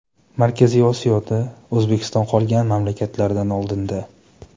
Markaziy Osiyoda O‘zbekiston qolgan mamlakatlardan oldinda.